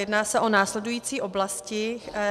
Jedná se o následující oblasti.